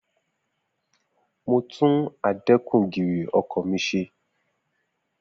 Mo tún adẹ́kun-gìrì ọkọ̀ mi ṣe.